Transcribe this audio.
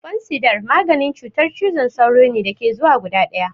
Fansidar maganin cutar cizon sauro ne da ke zuwa guda ɗaya.